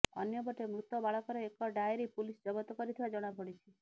ଅନ୍ୟ ପଟେ ମୃତ ବାଳକର ଏକ ଡାଏରି ପୁଲିସ ଜବତ କରିଥିବା ଜଣାପଡ଼ିଛି